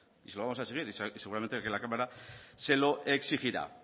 y se lo vamos a exigir y seguramente que la cámara se lo exigirá